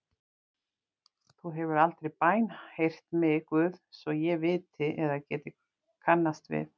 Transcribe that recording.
Þú hefur aldrei bænheyrt mig Guð svo ég viti eða geti kannast við.